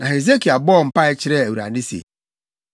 Na Hesekia bɔɔ mpae kyerɛɛ Awurade se,